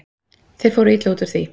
Þeir fóru illa út úr því.